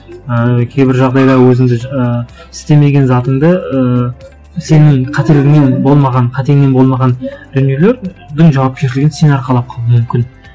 ыыы кейбір жағдайда өзіңді ііі істемеген затыңды ыыы сенің қателігіңнен болмаған қатеңнен болмаған дүниелердің жауапкершілігін сен арқалап қалу мүмкін